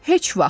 Heç vaxt!